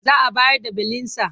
Za a bayar da belinsa.